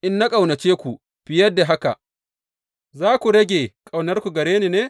In na ƙaunace ku fiye da haka, za ku rage ƙaunarku gare ni ne?